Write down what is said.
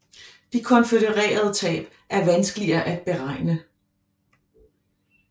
De konfødererede tab er vanskeligere at beregne